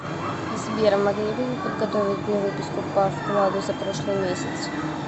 сбер могли бы вы подготовить мне выписку по вкладу за прошлый месяц